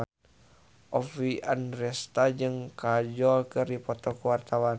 Oppie Andaresta jeung Kajol keur dipoto ku wartawan